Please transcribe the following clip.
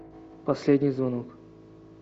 последний звонок